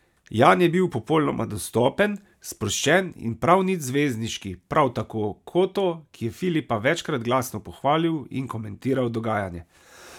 Jan je bil popolnoma dostopen, sproščen in prav nič zvezdniški, prav tako Coto, ki je Filipa večkrat glasno pohvalil in komentiral dogajanje.